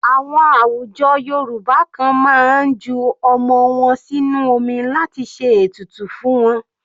Àwọn àwùjọ Yorùbá kan máa ń ju ọmọ wọn sínú omi láti ṣe ètùtù fún wọn.